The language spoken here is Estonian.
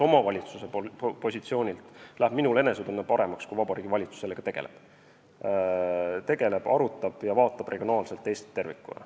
Omavalitsuse positsioonilt vaadates läheb minul enesetunne paremaks, kui ma näen, et Vabariigi Valitsus sellega tegeleb, arutab ja vaatab regionaalselt Eestit tervikuna.